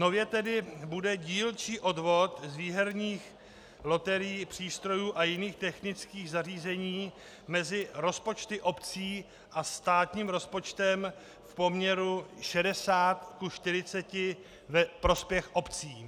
Nově tedy bude dílčí odvod z výherních loterií, přístrojů a jiných technických zařízení mezi rozpočty obcí a státním rozpočtem v poměru 60 ku 40 ve prospěch obcí.